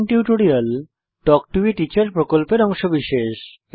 spoken tutorial talk to a teacher প্রকল্পের অংশবিশেষ